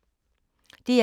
DR1